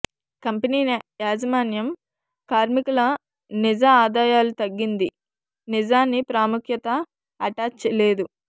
company యాజమాన్యం కార్మికుల నిజ ఆదాయాలు తగ్గింది నిజాన్ని ప్రాముఖ్యత అటాచ్ లేదు